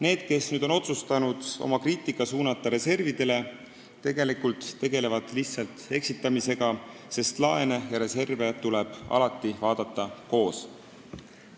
Need, kes on otsustanud oma kriitika suunata reservidele, tegelevad tegelikult lihtsalt eksitamisega, sest laene ja reserve tuleb alati vaadata koos.